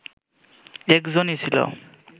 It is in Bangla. একজনই ছিল